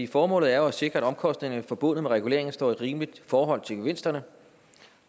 formålet er jo at sikre at omkostningerne forbundet med reguleringen står i et rimeligt forhold til gevinsterne